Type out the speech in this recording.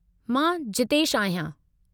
मां जीतेशु आहियां।